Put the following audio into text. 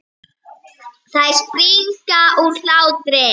Þær springa úr hlátri.